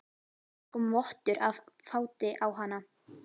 Það kom vottur af fáti á hana.